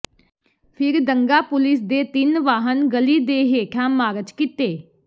ਫਿਰ ਦੰਗਾ ਪੁਲਿਸ ਦੇ ਤਿੰਨ ਵਾਹਨ ਗਲੀ ਦੇ ਹੇਠਾਂ ਮਾਰਚ ਕੀਤੇ